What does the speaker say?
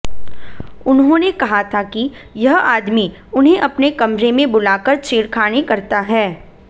उन्होंने कहा था कि यह आदमी उन्हें अपने कमरे में बुलाकर छेड़खानी करता है